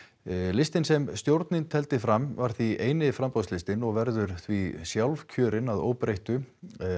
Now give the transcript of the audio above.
listinn sem stjórnin tefldi fram var því eini framboðslistinn og verður því sjálfkjörinn að óbreyttu